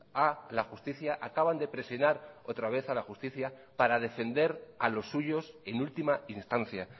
a la justicia acaban de presionar otra vez a la justicia para defender a los suyos en última instancia